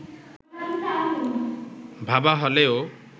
ভাবা হলেও